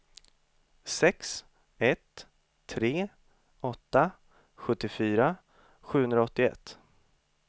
sex ett tre åtta sjuttiofyra sjuhundraåttioett